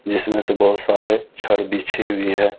जिसमें से बहुत सारे छड़ बिछे हुए हैं।